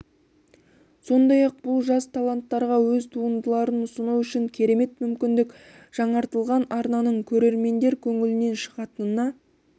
сондай-ақ бұл жас таланттарға өз туындыларын ұсыну үшін керемет мүмкіндік жаңартылған арнаның көрермендер көңілінен шығатынына